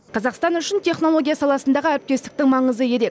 қазақстан үшін технология саласындағы әріптестіктің маңызы ерек